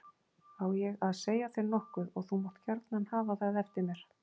Á ég að segja þér nokkuð og þú mátt gjarna hafa það eftir mér.